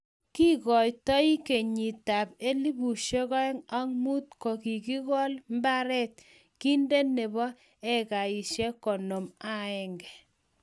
kingoitei kenyitab 2005 ko kikokool mbaret kinde nebo ekaisiek konom ak aeng